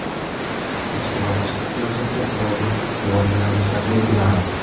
ichki va tashqi siyosatga doir ustuvor yo‘nalishlar belgilanadi.